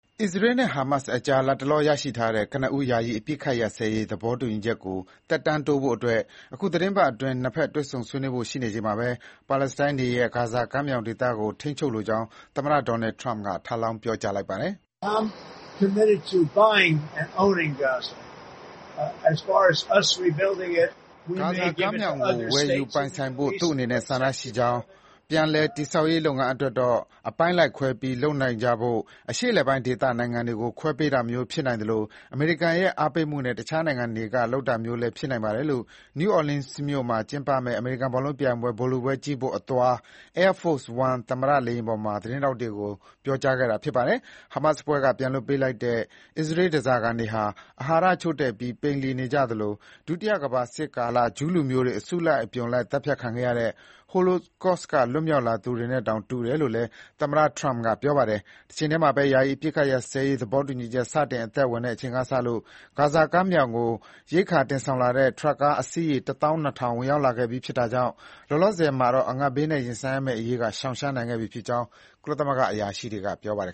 အစ္စရေးနဲ့ ဟာမတ်စ်ကြား လတ်တလောရရှိထားတဲ့ ကနဦး ယာယီအပစ်အခတ်ရပ်စဲရေး သဘောတူ ညီချက်ကို သက်တမ်းတိုးဖို့ အခုသီတင်းပတ်အတွင်း နှစ်ဘက် တွေ့ဆုံဆွေးနွေးဖို့ရှိနေချိန်မှာပဲ ပါလက်စတိုင်းတွေရဲ့ ဂါဇာကမ်းမြောင်ဒေသကို ထိန်းချုပ်လိုကြောင်း သမ္မတ Donald Trump က ထပ်လောင်း ပြောကြားလိုက်ပါတယ်။ ဂါဇာကမ်းမြောင်ကို ဝယ်ယူပိုင်ဆိုင်ဖို့ သူ့အနေနဲ့ဆန္ဒရှိကြောင်း၊ ပြန်လည်တည်ဆောက်ရေးလုပ်ငန်း အတွက်တော့ အပိုင်းလိုက်ခွဲပြီးလုပ်နိုင်ကြဖို့ အရှေ့အလယ်ပိုင်းဒေသနိုင်ငံတွေကို ခွဲပေးတာမျိုး ဖြစ်နိုင်သလို အမေရိကန်ရဲ့အားပေးမှုနဲ့ တခြားနိုင်ငံတွေကလုပ်တာမျိုးလည်း ဖြစ်နိုင်ပါတယ်လို့ New Orleans မြို့မှာကျင်းပမယ့် အမေရိကန်ဘောလုံးပြိုင်ပွဲ ဗိုလ်လုပွဲကြည့်ဖို့အသွား Air Force One သမ္မတ လေယာဉ်ပေါ်မှာ သတင်းထောက်တွေကို ပြောပါတယ်။ ဟာမတ်စ်အဖွဲ့က ပြန်လွှတ်ပေးလိုက်တဲ့ အစ္စရေးဓားစာခံတွေ အာဟာရချို့တဲ့ပြီး ပိန်လှီနေကြပြီး ဒုတိယကမ္ဘာစစ်ကာလ ဂျူးလူမျိုးတွေ အစုလိုက်အပြုံလိုက်သတ်ဖြတ်ခံခဲ့ရတဲ့ Holocaust က လွတ်မြောက်လာသူတွေနဲ့တောင် တူတယ်လို့လည်း သမ္မတ Trump က ပြောပါတယ်။ တချိန်တည်းမှာပဲ ယာယီအပစ်အခတ်ရပ်စဲရေးသဘောတူညီချက် စတင်အသက်ဝင်တဲ့အချိန်ကစလို့ ဂါဇာကမ်းမြောင်ကို ရိက္ခာတွေတင်ဆောင်လာတဲ့ ထရပ်ကား အစီးရေ တသောင်း နှစ်ထောင် ကျော် ဝင်ရောက်လာခဲ့ပြီးဖြစ်တာကြောင့် လောလောဆယ်မှာ အငတ်ဘေးနဲ့ရင်ဆိုင်ရမယ့်အရေးက ရှောင်ရှားနိုင်ခဲ့ပြီဖြစ်ကြောင်း ကုလသမဂ္ဂ အရာရှိတွေက ပြောပါတယ်